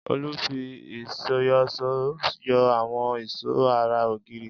Olú fi iìsyọ̀ṣó yọ àwọn ìṣó ara ògiri.